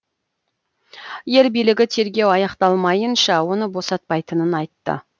ел билігі тергеу аяқталмайынша оны босатпайтынын айтты